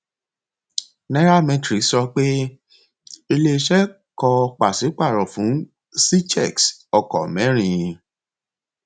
nairametrics sọ pé ilé iṣẹ kọ pàṣípàrọ fún cchecks ọkọ mẹrin